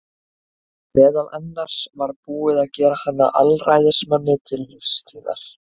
Meðal annars var búið að gera hann að alræðismanni til lífstíðar.